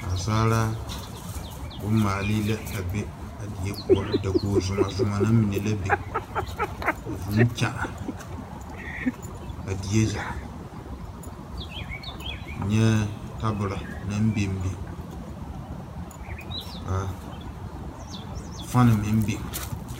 Naasaalaa bommaale la a be deɛ pou dakogi zuma zuma na mene la bing ka vũũ kyaane a deɛ zaa nyɛɛ tabulo nang bing bing ka fan meng bing.